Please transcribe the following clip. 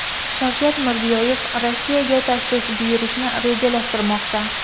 Shavkat Mirziyoyev Rossiyaga tashrif buyurishni rejalashtirmoqda.